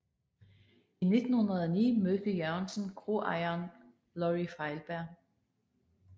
I 1909 mødte Jørgensen kroejeren Lorry Feilberg